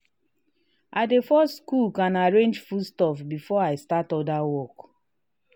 i dey first cook and arrange foodstuff before i start other work.